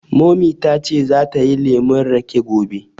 Mummy ta ce za ta yi lemun raƙe gobe